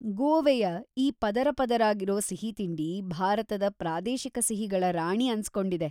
ಗೋವೆಯ ಈ ಪದರಪದರಾಗಿರೋ ಸಿಹಿತಿಂಡಿ ಭಾರತದ ಪ್ರಾದೇಶಿಕ ಸಿಹಿಗಳ ರಾಣಿ ಅನ್ಸ್ಕೊಂಡಿದೆ.